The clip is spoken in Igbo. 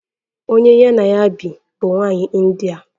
Onye ya na ya bi bụ nwanyị India.